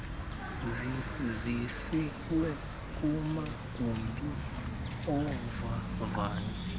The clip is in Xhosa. zisiwe kumagumbi ovavanyo